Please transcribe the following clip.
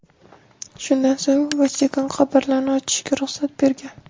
Shundan so‘ng Vatikan qabrlarni ochishga ruxsat bergan.